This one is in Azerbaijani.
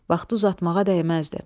Vaxtı uzatmağa dəyməzdi.